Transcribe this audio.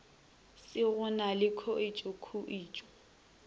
se go na le khuetšokhuetšo